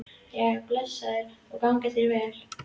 Jæja, blessaður og gangi þér vel